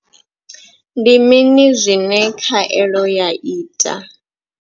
Ndi mini zwine khaelo ya ita.